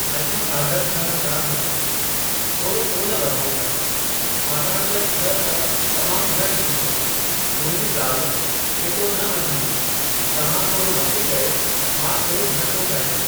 अच्छा साढा छह हज़ार न, थोरो कोन वधाईंदा छाकाणि त छह त तमाम घटि थींदो। मुंहिंजी ज़ाल एतिरो न मञींदी तव्हां थोरो मथे कयो मां थोरो घटि थो करियां।